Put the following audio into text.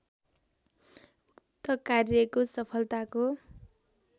उक्त कार्यक्रो सफलताको